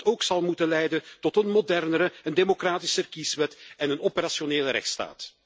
Die zal bijvoorbeeld ook moeten leiden tot een modernere en democratischer kieswet en een operationele rechtsstaat.